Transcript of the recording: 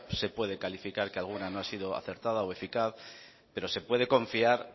se puede calificar que alguna no ha sido acertada o eficaz pero se puede confiar